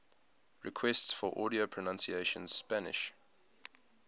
requests for audio pronunciation spanish